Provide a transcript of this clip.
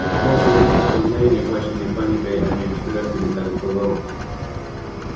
прошло всего несколько мгновений и охваченные паникой они в беспорядке метались по двору